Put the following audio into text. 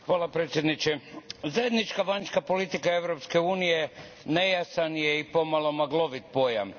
Gospodine predsjedniče, zajednička vanjska politika Europske unije nejasan je i pomalo maglovit pojam.